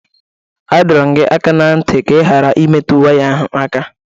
A dọrọ m gị aka na ntị ka ị ghara imetụ waya ahụ aka!